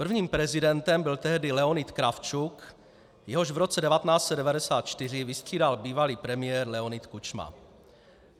Prvním prezidentem byl tehdy Leonid Kravčuk, jehož v roce 1994 vystřídal bývalý premiér Leonid Kučma.